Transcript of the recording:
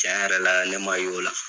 Tiɲɛn yɛrɛ la ne ma y'o la.